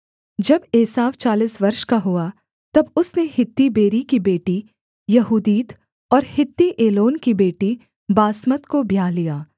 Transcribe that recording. जब एसाव चालीस वर्ष का हुआ तब उसने हित्ती बेरी की बेटी यहूदीत और हित्ती एलोन की बेटी बासमत को ब्याह लिया